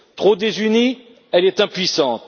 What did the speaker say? Trop désunie, elle est impuissante.